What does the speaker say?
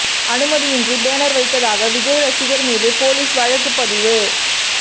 அனுமதியின்றி பேனர் வைத்ததாக விஜய் ரசிகர்கள் மீது போலீஸ் வழக்குப் பதிவு